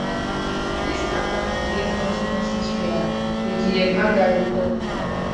dis attack go get consequences rear adm haggari tok